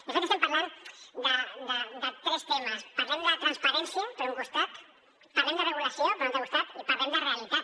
de fet estem parlant de tres temes parlem de transparència per un costat parlem de regulació per un altre costat i parlem de realitat